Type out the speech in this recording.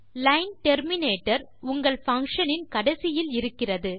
line terminator உங்கள் function இன் கடைசியில் இருக்கிறது